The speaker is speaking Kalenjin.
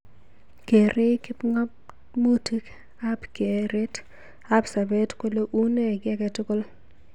Kerei kipngamutik ab keret ab sabet kole unee ki age tugul.